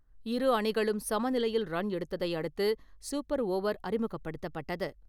இரு அணிகளும் சமநிலையில் ரன் எடுத்ததை அடுத்து சூப்பர் ஓவர் அறிமுகப்படுத்தப்பட்டது.